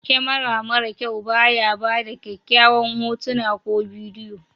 kamara mara kyau ba ya bada kyakyawan hotuna ko bidiyo